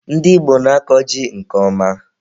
Ndị Igbo na-akọ ji nke ọma.